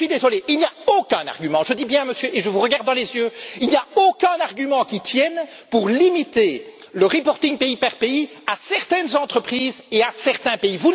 Je suis désolé, il n'y a aucun argument je dis bien, Monsieur, et je vous regarde dans les yeux, il n'y a aucun argument qui tienne pour limiter le reporting pays par pays à certaines entreprises et à certains pays.